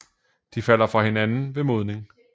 De falder fra hinanden ved modning